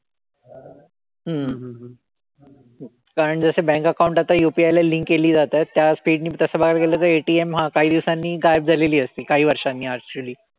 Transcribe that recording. हम्म कारण जसं bank account आता UPI ला link केली जातायत त्या speed नी तसं बघायला गेलं तर ATM हा काही दिवसांनी गायब झालेली असतील. काही वर्षांनी actually.